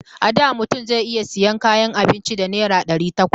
A da mutum zai iya sayan kayan abinci da naira ɗari takwas.